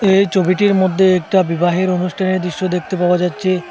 এই ছবিটির মধ্যে একটা বিবাহের অনুষ্ঠানের দৃশ্য দেখতে পাওয়া যাচ্ছে।